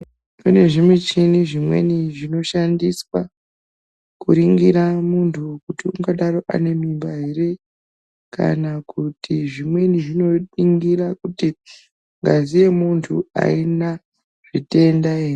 Kune zvimichini zvimweni zvinoshandiswa kuringira muntu kuti ungadaro ane mimba ere kana kuti zvimweni zvinoningira kuti ngazi yemuntu aina zvitenda ere.